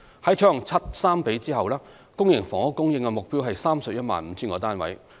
在採用"七三比"後，公營房屋供應目標為 315,000 個單位。